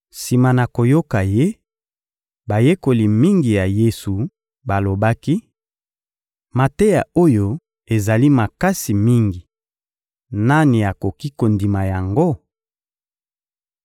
Sima na koyoka Ye, bayekoli mingi ya Yesu balobaki: — Mateya oyo ezali makasi mingi, nani akoki kondima yango?